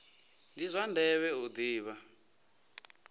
ndi zwa ndeme u ḓivha